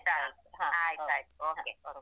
ಆಯ್ತಾಯ್ತು Okay.